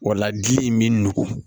O la gili in bɛ nɔgɔn